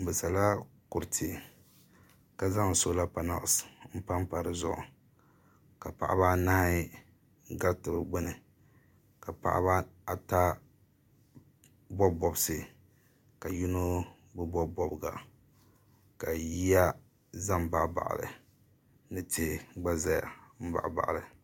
Bɛ sala kuruti ka zaŋ soola panɛlisi m-pa m-pa di zuɣu ka paɣiba anahi ɡariti di ɡbuni ka paɣiba ata bɔbi bɔbisi ka yino bi bɔbi bɔbiɡa ka yiya za m-baɣibaɣi li ni tihi ɡba zaya m-baɣibaɣi li